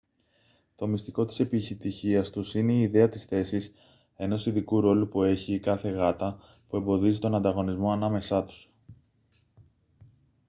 το μυστικό της επιτυχίας τους είναι η ιδέα της θέσης ενός ειδικού ρόλου που έχει η κάθε γάτα που εμποδίζει τον ανταγωνισμό ανάμεσά τους